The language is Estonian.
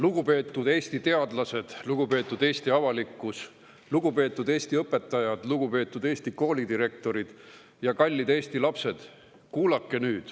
Lugupeetud Eesti teadlased, lugupeetud Eesti avalikkus, lugupeetud Eesti õpetajad, lugupeetud Eesti koolidirektorid ja kallid Eesti lapsed!